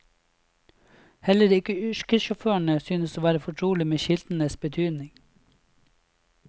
Heller ikke yrkessjåførene synes å være fortrolig med skiltenes betydning.